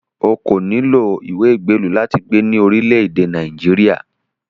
O kò nílò ìwé ìgbélú láti gbé ní orílẹ̀-èdè Nàìjíríà